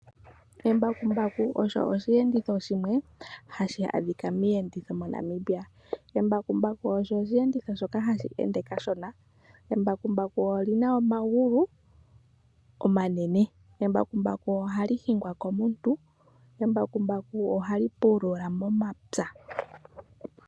Embakumbaku osho osheenditho shimwe hashi adhika miiyenditho mo Namibia. Embakumbaku osho oshi enditho shoka hashi ende kashona, embakumbaku olina omagulu omanene. Embakumbaku ohali hingwa komuntu, Embakumbaku ohali pulula momapywa.